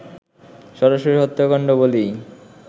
সরাসরি হত্যাকাণ্ড বলেই